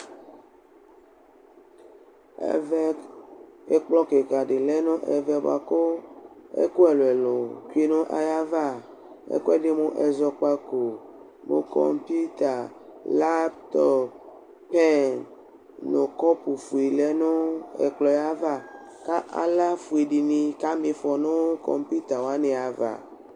Ekplɔ kɩka dɩ lɛ nʋ ɛvɛ bʋakʋ ɛkʋ ɛlʋɛlʋ bɩ nʋ ayʋ ava Ɛkʋ ɛdɩ mʋ ɛzɔkpako, mʋ kɔpɩʋta, laptɔp , pɛn nʋ kɔpʋfue lɛ nʋ ɛkplɔ yɛ ava Kʋ aɣlafue dɩnɩ kama ɩfɔ nʋ kɔpɩʋta wanɩ ava